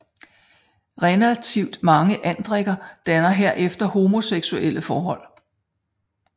Relativt mange andrikker danner herefter homoseksuelle forhold